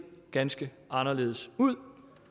ganske anderledes ud